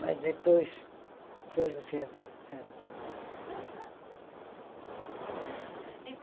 Mas depois foram se adaptando.